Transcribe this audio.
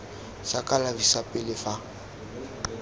sa kalafi sa pele fa